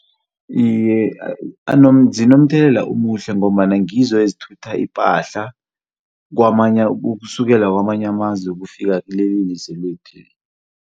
Iye, zinomthelela omuhle ngombana ngizo ezithutha ipahla ukusukela kwamanye amazwe ukufikela kileli lizwe lethu.